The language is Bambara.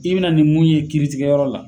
I bena na nin mun ye kiiritigɛyɔrɔ la